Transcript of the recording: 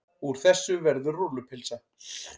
Úr þessu verður rúllupylsa.